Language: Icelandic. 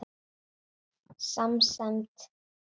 Samsemd getur átt við